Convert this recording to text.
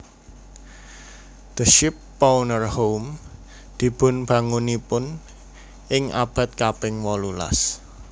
The Shipowner home dipunbangun ing abad kaping wolulas